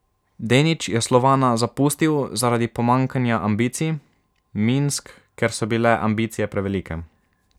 Denič je Slovana zapustil zaradi pomanjkanja ambicij, Minsk, ker so bile ambicije prevelike.